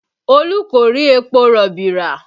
Olú kò rí epo rọ̀bì rà